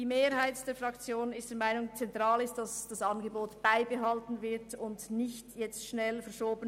Die Mehrheit der Fraktion ist der Meinung, es sei zentral, dieses Angebot beizubehalten und nicht schnell zu verschieben.